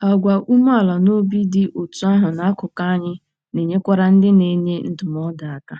Àgwà umeala n'obi dị otú ahụ n'akụkụ anyị na-enyekwara ndị na-enye ndụmọdụ aka.